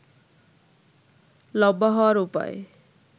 লম্বা হওয়ার উপায়